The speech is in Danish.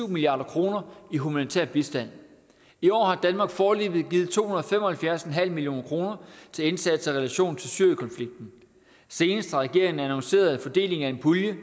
milliard kroner i humanitær bistand i år har danmark foreløbig givet to hundrede og fem og halvfjerds million kroner til indsatser i relation til syrienkonflikten senest har regeringen annonceret en fordeling af en pulje